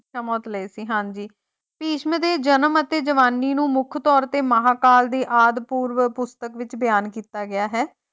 ਇੱਛਾ ਮੌਤ ਲਈ ਸੀ, ਹਾਂਜੀ ਭਿਸ਼ਮ ਦੇ ਜਨਮ ਅਤੇ ਜਵਾਨੀ ਨੂੰ ਮੁੱਖ ਤੌਰ ਤੇ ਮਹਾਕਾਲ ਦੇ ਆਦਿ ਪੂਰਵ ਪੁਸਤਕ ਵਿੱਚ ਬਿਆਨ ਕੀਤਾ ਗਿਆ ਹੈ।